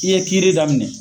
I ye kiiri daminɛ.